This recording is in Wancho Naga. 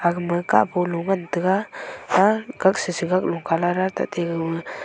ema kapolo ngan tega kak shi shi colour tate.